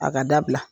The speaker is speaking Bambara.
A ka dabila